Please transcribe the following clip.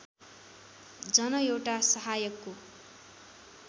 जन एउटा सहायकको